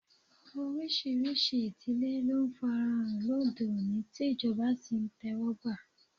Oríṣiríṣi ìdílé ló ń farahàn lóde òní tí ìjọba sì ń tẹ́wọ́gbà.